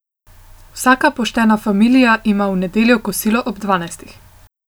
Vsaka poštena familija ima v nedeljo kosilo ob dvanajstih.